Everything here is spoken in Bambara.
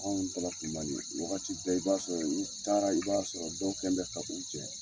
Anw taala wagati bɛɛ i b'a sɔrɔ i taara i b'a sɔrɔ dɔw kɛni bɛ ka u jɛ.